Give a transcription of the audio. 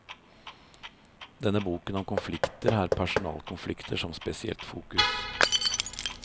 Denne boken om konflikter har personalkonflikter som spesielt fokus.